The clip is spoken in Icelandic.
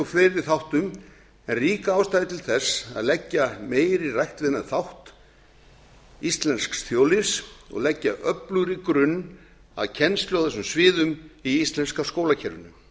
fleiri þáttum en rík ástæða er til þess að leggja meiri rækt við þennan þátt íslensks þjóðlífs og leggja öflugri grunn að kennslu á þessum sviðum í íslenska skólakerfinu